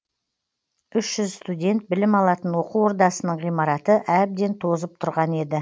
үш жүз студент білім алатын оқу ордасының ғимараты әбден тозып тұрған еді